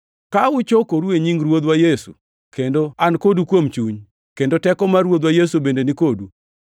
Ka uchokoru e nying Ruodhwa Yesu, kendo an kodu kuom chuny, kendo teko mar Ruodhwa Yesu bende ni kodu,